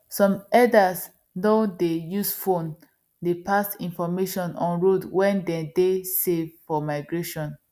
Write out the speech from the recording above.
some herders doh dey use phone dey pass information on road wen dey dey safe for migration